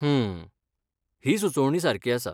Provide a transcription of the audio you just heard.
हूं, ही सुचोवणी सारकी आसा.